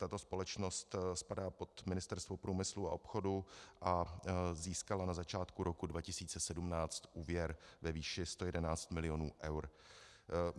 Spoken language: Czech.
Tato společnost spadá pod Ministerstvo průmyslu a obchodu a získala na začátku roku 2017 úvěr ve výši 111 mil. eur.